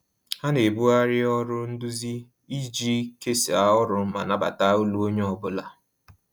Ha na-ebugharị ọrụ nduzi iji kesaa ọrụ ma nabata olu onye ọ bụla